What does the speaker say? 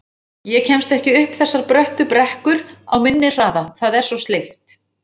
Ég kemst ekki upp þessar bröttu brekkur á minni hraða, það er svo sleipt